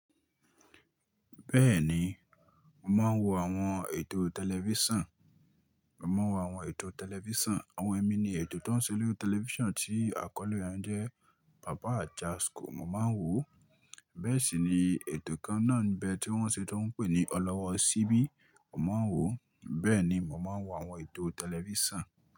Bẹ́ẹ̀ni, mo máa ń wo àwọn ètò tẹlifísàn. Mo máa ń wo àwọn ètò tẹlifísàn. Àwọn ẹmi ni ètò tó ń ṣe lórí tẹlifísàn tí àkọ́lé rẹ̀ n jẹ́ pàpá àjaskò, mo máa ń wò ó. Bẹ́ẹ̀ sì ni ètò kan náà n bẹ̀ tí wọ́n ṣe tó ń pè ní Ọlọ́wọ́ Síbí, mo máa ń wò ó. Bẹ́ẹ̀ ni, mo máa ń wo àwọn ètò tẹlifísàn.